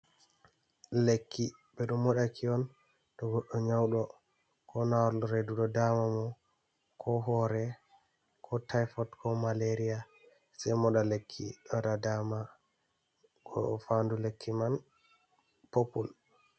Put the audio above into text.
Lekki ɓe ɗo moɗaki on to goɗɗo nyawɗo koo ndar reedu ɗo daama mo koo hoore koo tifot koo malaria sei moɗa lekki waɗa daama. Faandu lekki man popol.